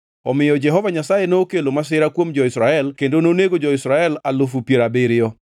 Omiyo Jehova Nyasaye nokelo masira kuom jo-Israel kendo nonego jo-Israel alufu piero abiriyo.